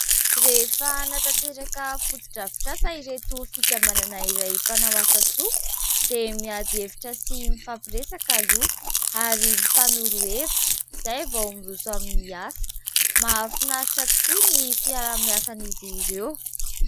rehefa natanteraka fodidravitrasa ireto fikambanana iray mpanao asasoa dia miady evitra sy mifapiresaka loha ary mifanorohevitra izay vao miroso amin'ny asa mahafinaritra tokoa ny fiara-miasan'izy ireo